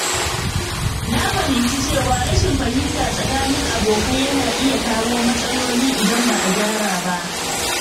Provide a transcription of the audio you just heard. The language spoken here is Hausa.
Na fahimci cewa rashin fahimta tsakanin abokai yana iya kawo matsaloli idan ba a gyara ba.